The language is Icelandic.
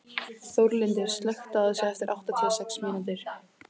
Þórlindur, slökktu á þessu eftir áttatíu og sex mínútur.